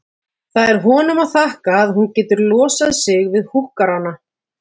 Það er honum að þakka að hún getur losað sig við húkkarana.